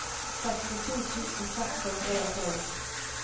sekstito tusen seks hundre og tolv